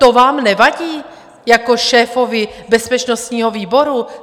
To vám nevadí jako šéfovi bezpečnostního výboru?